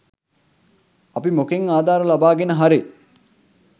අපි මොකෙන් ආධාර ලබාගෙන හරි